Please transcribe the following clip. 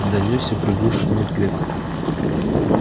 донёсся приглушённый клёкот